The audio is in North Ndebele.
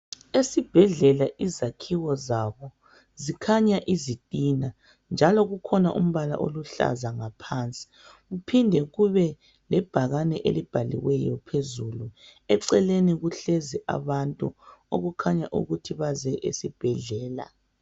Esibhedlela izakhiwo zabo zikhanya izitina njalo kukhona umbala oluhlaza ngaphansi kuphinde kube lebhakane elibhaliweyo phezulu, eceleni kuhlezi abantu okukhanya ukuthi baze esibhedlela.